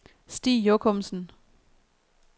Stig Jochumsen